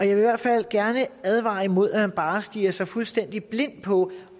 i hvert fald gerne advare imod at man bare stirrer sig fuldstændig blind på